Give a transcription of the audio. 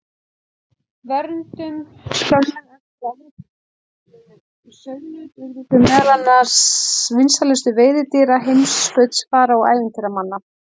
Verndun Skömmu eftir að Evrópumenn uppgötvuðu sauðnaut urðu þau meðal vinsælustu veiðidýra heimskautsfara og ævintýramanna.